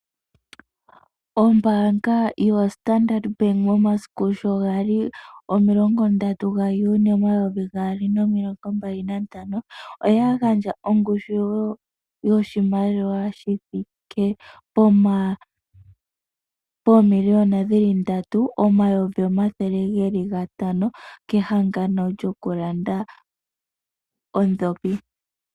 Ombaanga yo Standard Bank momasiku sho gali omilongo ndatu ga Juni omayovi gaali nomilongo mbali na ntano, oya gandja ongushu yoshimaliwa shi thike poomiliyona dhili ndatu omayovi omathele geli ga tano kehangano lyo ku landa odhopi.